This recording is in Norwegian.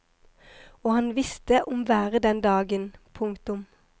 Og han visste om været den dagen. punktum